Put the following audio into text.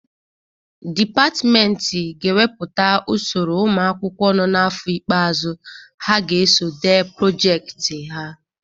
Dipatmenti ga-ewepụta usoro ụmụ akwụkwọ nọ n'afọ igbeazụ ha ga-eso dee projekiti ha.